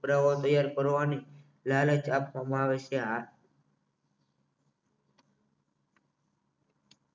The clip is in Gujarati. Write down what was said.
કરવાની લાલચ આપવામાં આવે છે આ